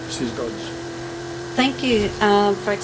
Thank you for accepting the blue card.